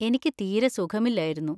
എനിക്ക് തീരെ സുഖമില്ലായിരുന്നു.